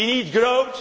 We need growth.